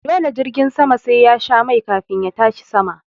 Dole jirgin sama sai yasha mai kafin ya tashi sama